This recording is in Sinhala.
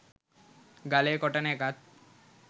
ගලේ කොටන එකත්